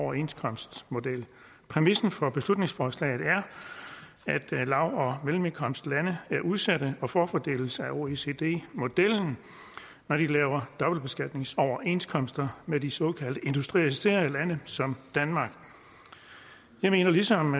overenskomstmodel præmissen for beslutningsforslaget er at lav og mellemindkomstlande er udsatte og forfordeles af oecd modellen når de laver dobbeltbeskatningsoverenskomster med de såkaldte industrialiserede lande som danmark jeg mener ligesom